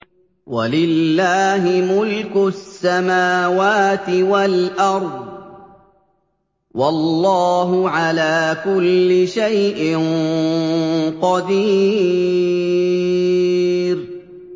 وَلِلَّهِ مُلْكُ السَّمَاوَاتِ وَالْأَرْضِ ۗ وَاللَّهُ عَلَىٰ كُلِّ شَيْءٍ قَدِيرٌ